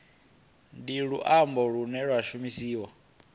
ndi luambo lune lwa shumiswa